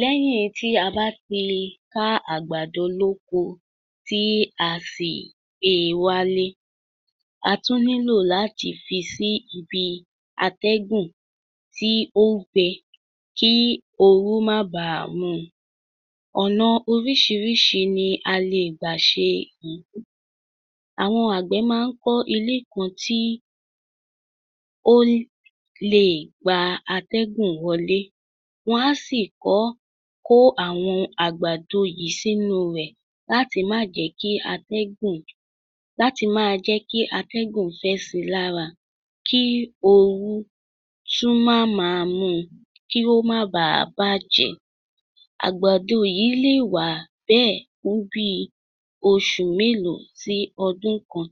Lẹ́yìn tí a bá ti lè ká àgbàdo lóko tí a sì gbé e wálé, a tún nílò láti fi sí ibi atẹ́gùn tí ó gbẹ, kí ooru má ba à mú un. Ọ̀nà oríṣìíríṣìí ni a lè gbà ṣe èyí. Àwọn àgbẹ̀ máa ń kọ́ ilé kan tí ó ń iè gba atẹ́gùn wọlé, wọ́n á sì kọ́ kó àwọn àgbàdo yìí sínú rẹ̀ láti má jẹ̀ẹ́ kí atẹ́gùn láti máa jẹ́ kí atẹ́gùn fẹ́ sí i lára kí ooru tún má mú un kí ó máa baà bàjẹ́. Àgbàdo yìí le wà bẹ́ẹ̀ fún bíi oṣù bíi mélòó sí ọdún kan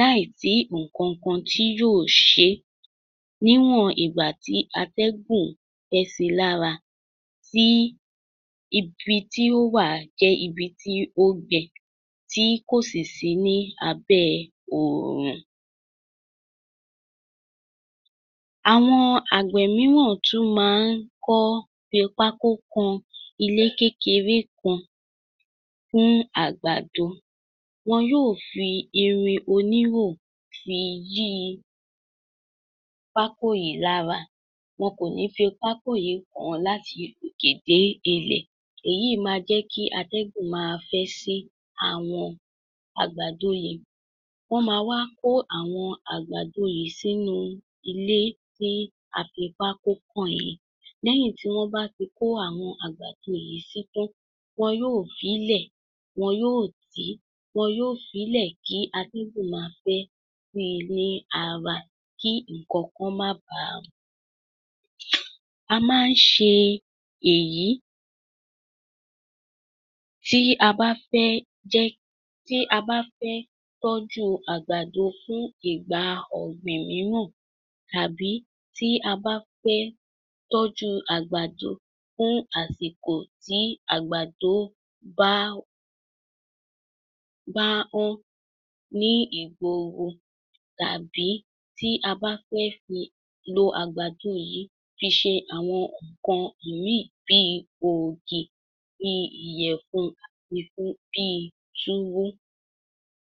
láìsí nǹkan tí yóò ṣe é. Níwọ̀n ìgbà tí atẹ́gùn fẹ́ sí i lára tí ibi tí ó wà jẹ́ ibi tí ó gbẹ tí kò sì sí ní abẹ́ oòrùn. Àwọn àgbẹ̀ mìíràn tún máa ń kọ́ fi pákó kọ́ ilé kékeré kan fún àgbàdo. Wọn yóò fi irin oníhò fi yí pákó yìí lára, wọn kò ní jẹ́ kí pákó yìí kàn án láti òkè títí dé ilẹ̀, èyí máa jẹ́ kí atẹ́gùn máa fẹ́ sí àwọn àgbàdo yìí. Wọ́n máa wá kó àwọn àgbàdo yìí sí inú ilé tí a fi pákó kọ́ yìí. Nígbà tí wọ́n bá ti kó àwọn àgbàdo yìí sí i tán, wọn yóò sì máa jẹ́ kí atẹ́gùn fẹ́ sí i lára kí nǹkankan má baà mú un. A máa ń ṣe èyí tí a bá fẹ́ jẹ ẹ́, tí a bá fẹ́ tọ́jú àgbàdo fún ìgbà ọ̀gbìn mìíràn tàbí tí a bá fẹ́ tọ́jú àgbàdo fún àsìkó tí àgbàdo bá bá wọ́n ní ìgboro tàbí tí a bá fẹ́ lo àgbàdo yìí fi ṣe àwọn nǹkan mìíì bíi ògì, bí ìyẹ̀fun bíi túwó.